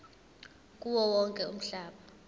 kuwo wonke umhlaba